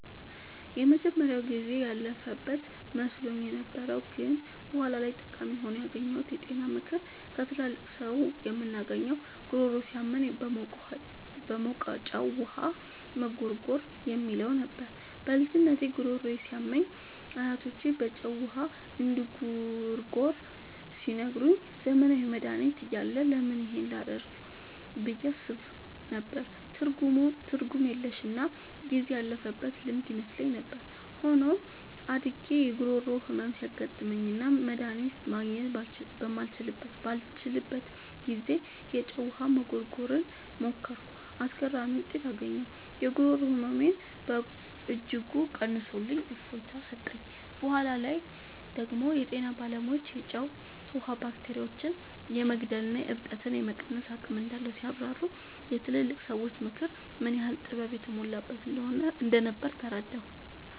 የመጀመሪያው ጊዜ ያለፈበት መስሎኝ የነበረው ግን በኋላ ላይ ጠቃሚ ሆኖ ያገኘሁት የጤና ምክር ከትላልቅ ሰዎች የምናገኘው "ጉሮሮ ሲያመን በሞቀ ጨው ውሃ መጉርጎር" የሚለው ነበር። በልጅነቴ ጉሮሮዬ ሲያመኝ አያቶቼ በጨው ውሃ እንድጉርጎር ሲነግሩኝ፣ ዘመናዊ መድሃኒት እያለ ለምን ይህን ላደርግ ብዬ አስብ ነበር። ትርጉም የለሽና ጊዜ ያለፈበት ልማድ ይመስለኝ ነበር። ሆኖም፣ አድጌ የጉሮሮ ህመም ሲያጋጥመኝና መድሃኒት ማግኘት ባልችልበት ጊዜ፣ የጨው ውሃ መጉርጎርን ሞከርኩ። አስገራሚ ውጤት አገኘሁ! የጉሮሮ ህመሜን በእጅጉ ቀንሶልኝ እፎይታ ሰጠኝ። በኋላ ላይ ደግሞ የጤና ባለሙያዎች የጨው ውሃ ባክቴሪያዎችን የመግደልና እብጠትን የመቀነስ አቅም እንዳለው ሲያብራሩ፣ የትላልቅ ሰዎች ምክር ምን ያህል ጥበብ የተሞላበት እንደነበር ተረዳሁ።